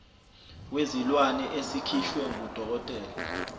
wezilwane esikhishwa ngudokotela